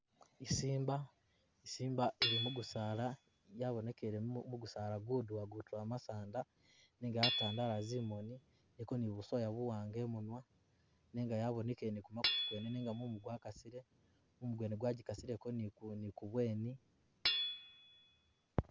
I Simba,i Simba ili mugusaala yabonekele mugusaala guduwa gutula masanda nenga yatandala zimoni, iliko ni busoya buwanga imunwa nenga yabonekele ni kumakutu kwene nenga mumu gwakasile, mumu gwene gwagikoseleko nikubweni.